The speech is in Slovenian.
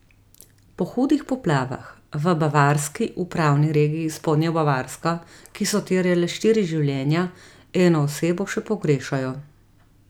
Po hudih poplavah v bavarski upravni regiji Spodnja Bavarska, ki so terjale štiri življenja, eno osebo še pogrešajo.